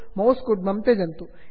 mouse कुड्मं त्यजन्तु